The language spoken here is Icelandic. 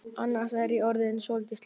Annars er ég orðin svolítið slöpp.